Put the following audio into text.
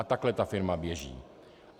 A takhle ta firma běží.